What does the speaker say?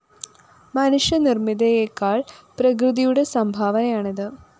മനുഷ്യ നിര്‍മ്മിതിയേക്കാള്‍ പ്രകൃതിയുടെ സംഭാവനയാണിത്